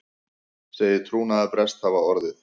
Segir trúnaðarbrest hafa orðið